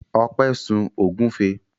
Ọpẹ́ sun ògúnfe.